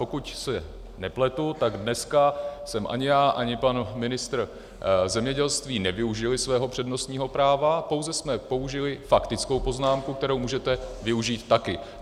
Pokud se nepletu, tak dneska jsme ani já, ani pan ministr zemědělství nevyužili svého přednostního práva, pouze jsme použili faktickou poznámku, kterou můžete využít taky.